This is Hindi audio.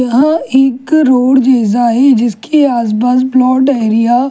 यहां एक रोड जैसा है जिसके आसपास प्लॉट एरिया --